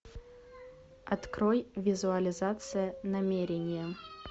открой визуализация намерения